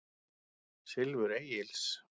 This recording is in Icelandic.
Silfur Egils.